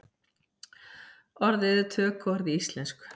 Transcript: Orðið er tökuorð í íslensku.